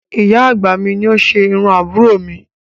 Ìyá àgbà mi ni ó ṣe irú àbúrò mi